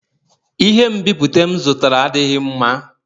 Ihe nbipute m zụtara adịghị mma